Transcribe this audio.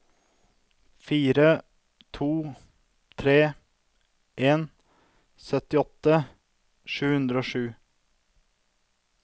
fire to tre en syttiåtte sju hundre og sju